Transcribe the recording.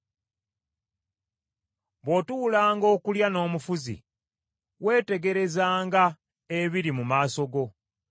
Bw’otuulanga okulya n’omufuzi, weetegerezanga ebiri mu maaso go;